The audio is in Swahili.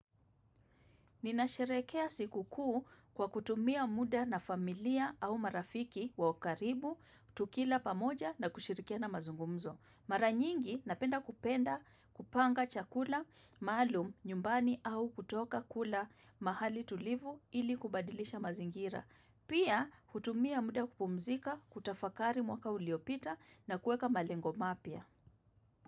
Ninasherekea sikukuu kwa kutumia muda na familia au marafiki wa karibu tukila pamoja na kushirikia mazungumzo. Mara nyingi napenda kupenda kupanga chakula maalum nyumbani au kutoka kula mahali tulivu ili kubadilisha mazingira. Pia hutumia muda kupumzika kutafakari mwaka uliopita na kuweka malengo mapya.